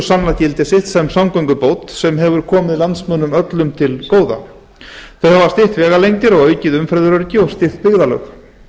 sannað gildi sitt sem samgöngubót sem hefur komið landsmönnum öllum til góða þau hafa stytt vegalengdir og aukið umferðaröryggi og stytt byggðarlög